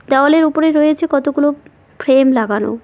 দেওয়ালের ওপরে রয়েছে কতগুলো ফ্রে-ফ্রেম লাগানো।